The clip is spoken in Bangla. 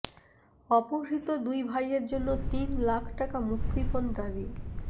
অপহৃত দুই ভাইয়ের জন্য তিন লাখ টাকা মুক্তিপণ দাবি